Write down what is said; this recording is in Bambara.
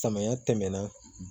Samaya tɛmɛna